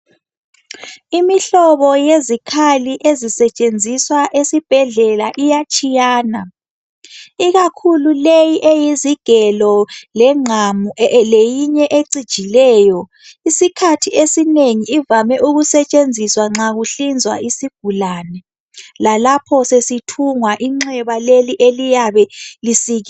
Imihlobo yezikhali ezisetshenziswa esibhedlela iyatshiyana. Ikakhulu leyi eyizigelo legqamu leyinye echijileyo. Isikhathi esinengi ivame ukusetshenziswa nxa kuhlizwa isigulane lalapho sesithungwa inxeba leli eliyabe lisikhiwe.